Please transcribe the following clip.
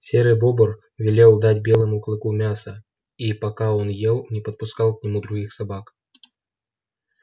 серый бобр велел дать белому клыку мяса и пока он ел не подпускал к нему других собак